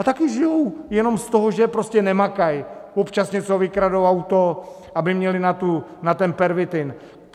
A taky žijou jenom z toho, že prostě nemakaj, občas něco vykradou, auto, aby měli na ten pervitin.